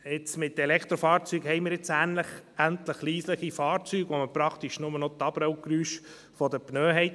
Mit den Elektrofahrzeugen haben wir jetzt endlich leise Fahrzeuge, bei denen man praktisch nur noch die Abrollgeräusche der Pneus hat.